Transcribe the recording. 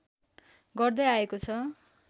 गर्दै आएको छ